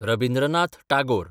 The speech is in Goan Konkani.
रबिन्द्रनाथ टागोर